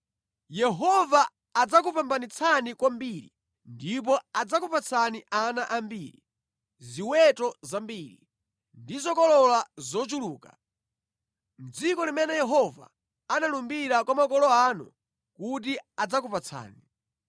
Yehova adzakupambanitsani kwambiri ndipo adzakupatsani ana ambiri, ziweto zambiri, ndi zokolola zochuluka, mʼdziko limene Yehova analumbira kwa makolo anu kuti adzakupatsani.